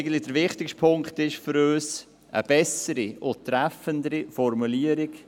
Folgendes ist für uns der wichtigste Punkt: